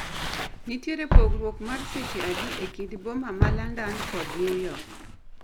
Nitiere pogrwok mar seche adi e kind boma ma London kod Newyork